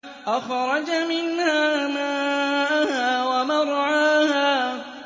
أَخْرَجَ مِنْهَا مَاءَهَا وَمَرْعَاهَا